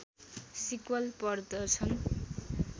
sequel पर्दछन्